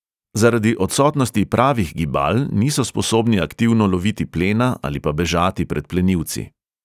Zaradi odsotnosti pravih gibal niso sposobni aktivno loviti plena ali pa bežati pred plenilci.